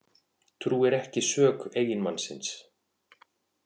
Trúir ekki sök eiginmannsins